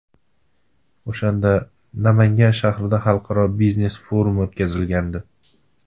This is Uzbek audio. O‘shanda Namangan shahrida xalqaro biznes forumi o‘tkazilgandi.